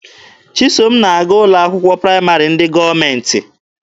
Chisom na-aga ụlọ akwụkwọ praịmarị ndị gọọmenti.